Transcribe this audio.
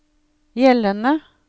gjeldende